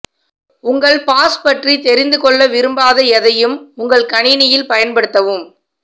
உங்கள் பாஸ் பற்றி தெரிந்து கொள்ள விரும்பாத எதையும் உங்கள் கணினியில் பயன்படுத்தவும்